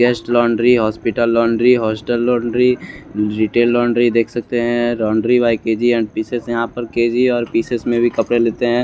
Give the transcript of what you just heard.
Guest laundry hospital laundry hostel laundry retail laundry देख सकते हैं laundry by K G and pieces यहां पर के_जी और पीसेस में भी कपड़े लेते हैं।